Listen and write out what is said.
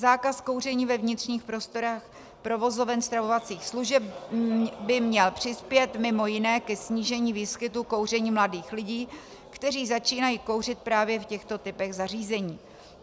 Zákaz kouření ve vnitřních prostorách provozoven stravovacích služeb by měl přispět mimo jiné ke snížení výskytu kouření mladých lidí, kteří začínají kouřit právě v těchto typech zařízení.